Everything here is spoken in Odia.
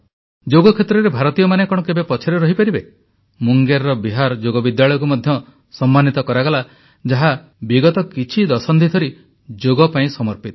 ଯୋଗ କ୍ଷେତ୍ରରେ ଭାରତୀୟମାନେ କଣ କେବେ ପଛରେ ରହିପାରିବେ ମୁଙ୍ଗେରର ବିହାର ଯୋଗ ବିଦ୍ୟାଳୟକୁ ମଧ୍ୟ ସମ୍ମାନିତ କରାଗଲା ଯାହା ବିଗତ କିଛି ଦଶନ୍ଧି ଧରି ଯୋଗ ପାଇଁ ସମର୍ପିତ